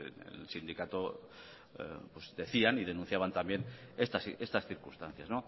el sindicato decían y denunciaban también estas circunstancias